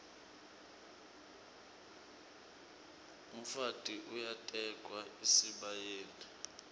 umfati uyatekwa esibayeni